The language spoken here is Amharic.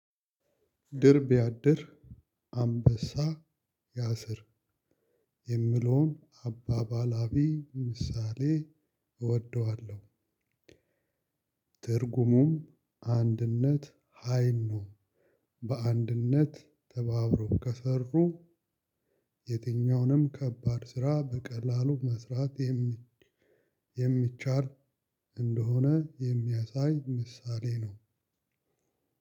ድርብ ቢያብር አንበሳ ያስር የሚለውን ምሳሌያዊ አባባል እወደዋለሁ። ትርጉሙም አንድነት ሀይል ነው። በአንድነት ተባብሮ ከሰሩ የትኛውንም ከባድ ስራ በቀላሉ መስራት። የሚቻል እንደሆነ የሚያሳይ ምሳሌ ነው።